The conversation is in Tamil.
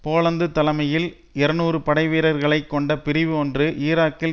போலந்து தலைமையில் இருநூறு படை வீரர்களை கொண்ட பிரிவு ஒன்று ஈராக்கில்